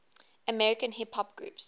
american hip hop groups